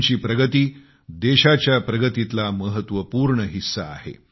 तुमची प्रगती देशाच्या प्रगतीतला महत्वपूर्ण हिस्सा आहे